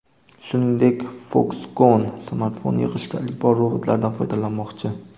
Shuningdek, Foxconn smartfon yig‘ishda ilk bor robotlardan foydalanmoqchi.